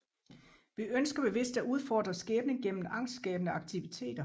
Vi ønsker bevidst at udfordre skæbnen gennem angstskabende aktiviteter